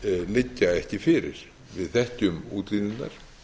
liggja ekki fyrir við þekkjum útlínurnar